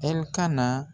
Ɛlikana